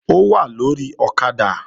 Ó wà lórí ọ̀kadà